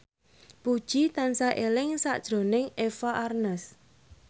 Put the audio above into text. Puji tansah eling sakjroning Eva Arnaz